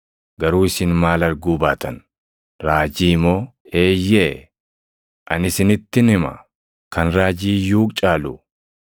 Garuu isin maal arguu baatan? Raajii moo? Eeyyee; ani isinittin hima; kan raajii iyyuu caalu.